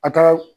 A ka